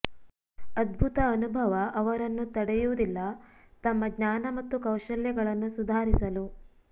ಅದ್ಭುತ ಅನುಭವ ಅವರನ್ನು ತಡೆಯುವುದಿಲ್ಲ ತಮ್ಮ ಜ್ಞಾನ ಮತ್ತು ಕೌಶಲ್ಯಗಳನ್ನು ಸುಧಾರಿಸಲು